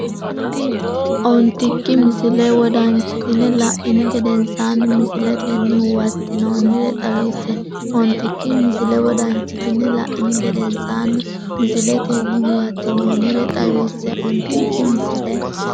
Ontikki misile wodanchitine la’ini gedensaanni misiletenni huwat- tinoonnire xawisse Ontikki misile wodanchitine la’ini gedensaanni misiletenni huwat- tinoonnire xawisse Ontikki misile.